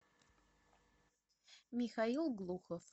михаил глухов